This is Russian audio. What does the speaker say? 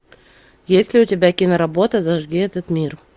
есть ли у тебя киноработа зажги этот мир